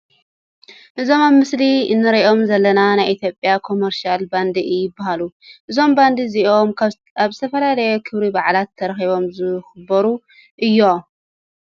እዞም ኣብ ምስሊ እንሮኦም ዘለና ናይ ኢትዮጵያ ኮሞርሻል ባንድ ይበሃሉ። እዞም ባንዲ እዚኦም ኣብ ዝተፈላለዩ ክበረ በዓላት ተረኪቦም ዘክብሩ እዮም።